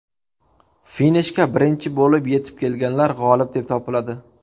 Finishga birinchi bo‘lib yetib kelganlar g‘olib deb topiladi.